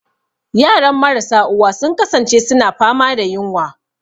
Yaran marasa uwa sun kasance suna fama da yunwa.